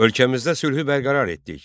Ölkəmizdə sülhü bərqərar etdik.